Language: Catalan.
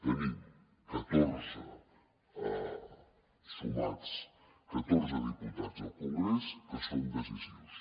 tenim sumats catorze diputats al congrés que són decisius